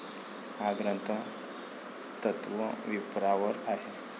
हा ग्रंथ तत्वविवरांपर आहे.